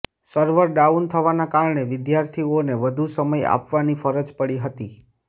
server down થવાના કારણે વિદ્યાર્થીઓને વધુ સમય આપવાની ફરજ પડી હતી